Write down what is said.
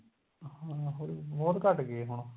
ਹਾਂ ਉਹੀ ਬਹੁਤ ਘੱਟ ਗਏ ਹੁਣ